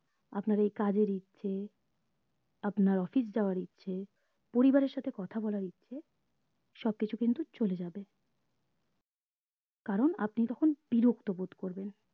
আপনার এই কাজের ইচ্ছে আপনার office যাওয়ার ইচ্ছে পরিবার এর সাথে কথা বলার ইচ্ছে সব কিছু কিন্তু চলে যাবে কারণ আপনি তখন বিরক্ত বোধ করবেন